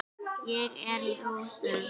Ég er lúsug.